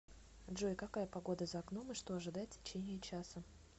джой какая погода за окном и что ожидать в течение часа